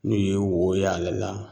N'u ye woyo y'ale la